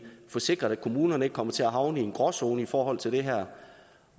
få sikret at kommunerne ikke kommer til havne i en gråzone i forhold til det her